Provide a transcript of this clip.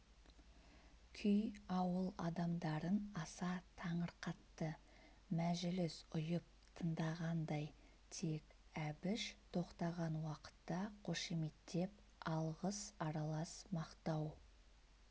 күй ауыл адамдарын аса таңырқатты мәжіліс ұйып тындағандай тек әбіш тоқтаған уақытта қошеметтеп алғыс аралас мақтау